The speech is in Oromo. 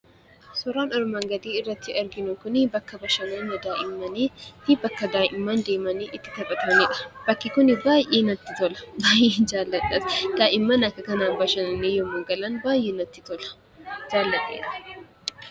Suurri armaan gadii irratti argamu Kun bakka bashannana daa'immanii fi bakka daa'imman deemanii itti taphatanidha. Daa'imman haala kanaan yeroo bashannanan baay'ee namatti tola. Jaalladheera.